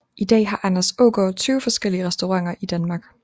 I dag har Anders Aagaard 20 forskellige restauranter i Danmark